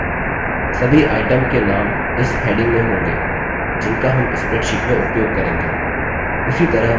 सभी item चीज के names इस heading में होंगे जिनका names spreadsheet में उपयोग करेंगे